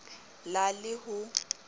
la lkb le khm ho